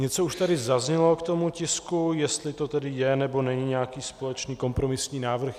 Něco už tady zaznělo k tomu tisku, jestli to tedy je nebo není nějaký společný kompromisní návrh.